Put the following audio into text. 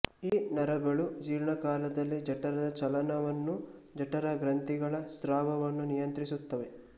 ಈ ನರಗಳು ಜೀರ್ಣಕಾಲದಲ್ಲಿ ಜಠರದ ಚಲನವನ್ನೂ ಜಠರಗ್ರಂಥಿಗಳ ಸ್ರಾವವನ್ನೂ ನಿಯಂತ್ರಿಸುತ್ತವೆ